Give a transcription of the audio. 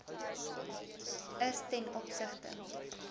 is ten opsigte